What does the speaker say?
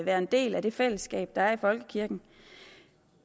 være en del af det fællesskab der er i folkekirken